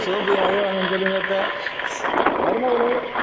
அத்தை சோஃபியா அழுவாங்கன்னு சொல்லுங்க அத்தை. மருமகளே